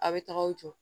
A' bɛ taga aw jɔ